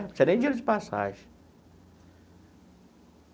Precisa nem de dinheiro de passagem.